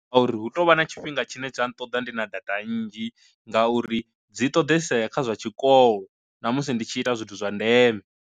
A uri hu tovha na tshifhinga tshine tsha nṱoḓa ndi na data nnzhi ngauri dzi ṱoḓesa vhea kha zwa tshikolo na musi ndi tshi ita zwithu zwa ndeme.